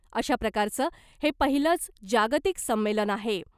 अशा प्रकारचं हे पहिलंच जागतिक संमेलन आहे .